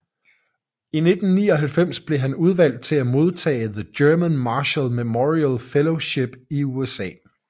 I 1999 blev han udvalgt til at modtage The German Marshall Memorial Fellowship i USA